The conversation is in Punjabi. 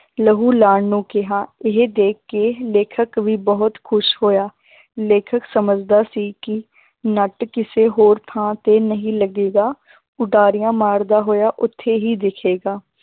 ਲਹੂ ਲਾਉਣ ਨੂੰ ਕਿਹਾ, ਇਹ ਦੇਖ ਕੇ ਲੇਖਕ ਵੀ ਬਹੁਤ ਖ਼ੁਸ਼ ਹੋਇਆ ਲੇਖਕ ਸਮਝਦਾ ਸੀ ਕਿ ਨੱਟ ਕਿਸੇ ਹੋਰ ਥਾਂ ਤੇ ਨਹੀਂ ਲੱਗੇਗਾ ਉਡਾਰੀਆਂ ਮਾਰਦਾ ਹੋਇਆ ਉੱਥੇ ਹੀ ਦਿਖੇਗਾ